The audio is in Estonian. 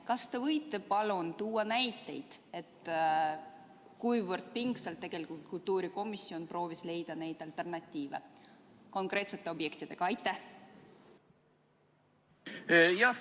Kas te võite palun tuua näiteid, kuivõrd pingsalt kultuurikomisjon proovis leida neid alternatiive konkreetsetele objektidele?